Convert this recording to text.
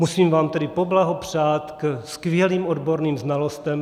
Musím vám tedy poblahopřát k skvělým odborným znalostem.